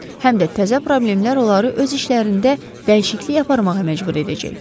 Həm də təzə problemlər onları öz işlərində dəyişiklik aparmağa məcbur edəcək.